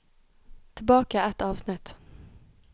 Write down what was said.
Tilbake ett avsnitt